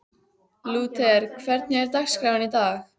Lúther, hvernig er dagskráin í dag?